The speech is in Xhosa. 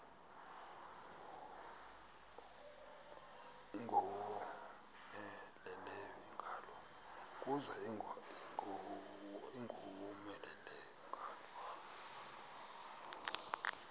kuza ingowomeleleyo ingalo